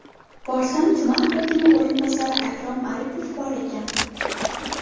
Borsam, tuman hokimi o‘rinbosari Akrom Aripov bor ekan.